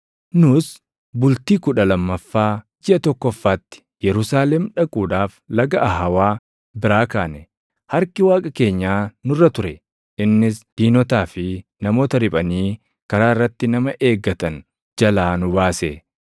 Nus bultii kudha lammaffaa jiʼa tokkoffaatti Yerusaalem dhaquudhaaf Laga Ahawaa biraa kaane. Harki Waaqa keenyaa nurra ture; innis diinotaa fi namoota riphanii karaa irratti nama eegatan jalaa nu baase.